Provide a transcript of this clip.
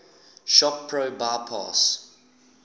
shop pro bypass